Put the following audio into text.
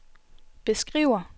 beskriver